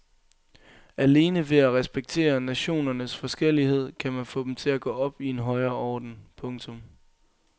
Alene ved at respektere nationernes forskellighed kan man få dem til at gå op i en højere orden. punktum